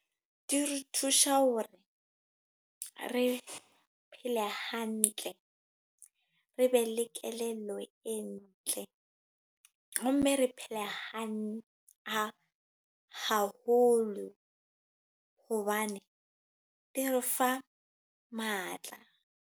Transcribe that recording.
Di re thusha hore re phele hantle. Re be le kelello e ntle. Ho mme re phele hantle haholo. Hobane di re fa matla.